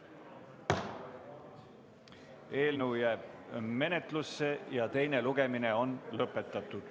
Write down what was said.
Eelnõu jääb menetlusse ja teine lugemine on lõpetatud.